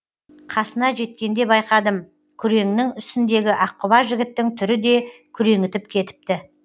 қасына жеткенде байқадым күреңнің үстіндегі аққұба жігіттің түрі де күреңітіп кетіпті